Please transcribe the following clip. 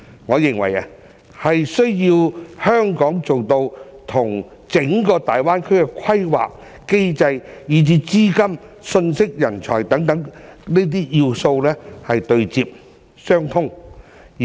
我認為是需要香港做到與整個大灣區的規則、機制，以至資金、信息、人才等要素對接、相通。